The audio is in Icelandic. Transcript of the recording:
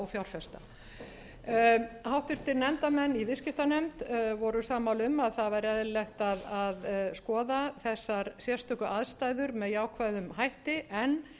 og fjárfesta háttvirtur nefndarmenn í viðskiptanefnd voru sammála um að það væri eðlilegt að skoða þessar sérstöku aðstæður með jákvæðum hætti en